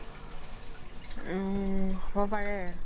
উম হ্'ব পাৰে